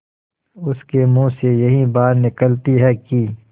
उसके मुँह से यही बात निकलती है कि